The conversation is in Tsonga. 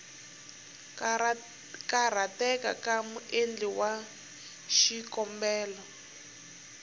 karhateka ka muendli wa xikombelo